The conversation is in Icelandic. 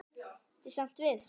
Ertu samt viss?